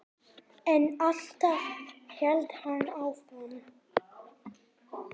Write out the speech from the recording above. En alltaf hélt hann áfram.